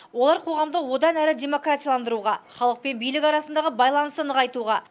олар қоғамды одан әрі демократияландыруға халық пен билік арасындағы байланысты нығайтуға